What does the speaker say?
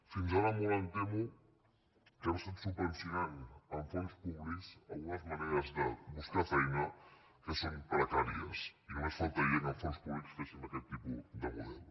fins ara molt em temo que hem estat subvencionant amb fons públics algunes maneres de buscar feina que són precàries i només faltaria que amb fons públics féssim aquest tipus de model